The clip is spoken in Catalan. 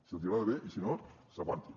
si els hi agrada bé i si no s’aguantin